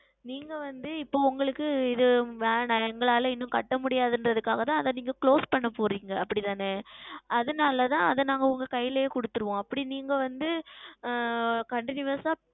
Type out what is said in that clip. நீங்கள் வந்து இப்பொழுது உங்களுக்கு இது வேண்டாம் எங்களால் இதை செலுத்த முடியாது என்பதற்க்காக தான் நீங்கள் இதை Close செய்கிறீர்கள் அப்படி தானே அதுனால் தான் அதை நாங்கள் உங்கள் கைகளில் கொடுத்துருவோம் அப்படி நீங்கள் வந்து ஆஹ் Continous ஆ